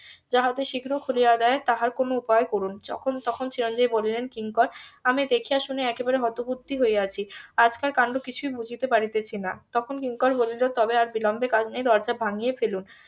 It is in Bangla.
যাহাতে শীঘ্র খুলিয়া দেয় তাহার কোনো উপায় করুন যখন তখন চিরঞ্জিত বলিলেন কিঙ্কর আমি দেখিয়া শুনিয়া একেবারে হতবুদ্ধি হইয়া আছি আজকের কান্ড কিছুই বুজিতে পারিতেছি না তখন কিঙ্কর বলিল তবে আর বিলম্বে কাজ নেই দরজা ভাঙিয়া ফেলুন